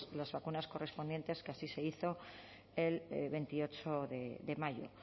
las vacunas correspondientes que así se hizo el veintiocho de mayo